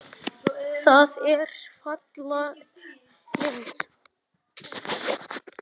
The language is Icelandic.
Það er falleg mynd.